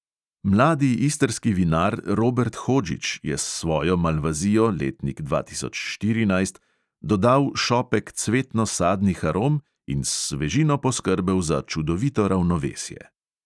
Mladi istrski vinar robert hodžić je s svojo malvazijo, letnik dva tisoč štirinajst, dodal šopek cvetno-sadnih arom in s svežino poskrbel za čudovito ravnovesje.